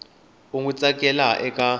u n wi tsaleke eka